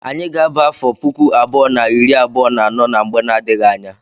Anyị ga-aba afọ puku abụọ na iri abuo na anọ na mgbe na-adịghị anya.